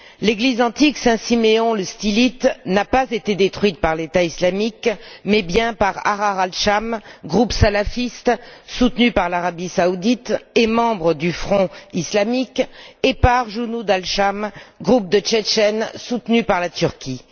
L'église antique Saint Siméon le Stylite n'a pas été détruite par l'État islamique, mais bel et bien par Ahrar Al Sham, groupe salafiste soutenu par l'Arabie saoudite et membre du Front islamique, et par Junud Al Sham, groupe tchétchène soutenu par la Turquie.